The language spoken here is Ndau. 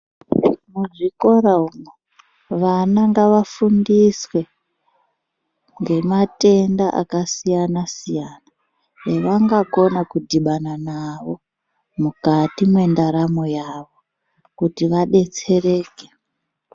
Muzvikora umwo vana ngavafundiswe ngematenda akasiyana-siyana evangakona kudhibana nawo mukati mwendaramo yavo, kuti vadetsereke.